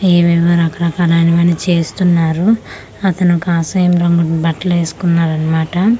ఏవేవో రకరకాలు అనేవి చేస్తున్నారు అతను కషాయం రంగు బట్టలు ఏసుకున్నారు అన్నమాట.